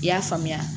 I y'a faamuya